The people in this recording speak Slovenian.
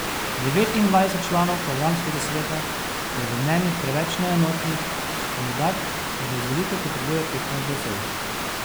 Devetindvajset članov programskega sveta je v mnenjih preveč neenotnih, kandidat pa za izvolitev potrebuje petnajst glasov.